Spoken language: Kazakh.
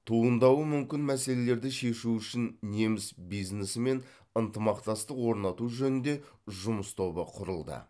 туындауы мүмкін мәселелерді шешу үшін неміс бизнесімен ынтымақтастық орнату жөнінде жұмыс тобы құрылды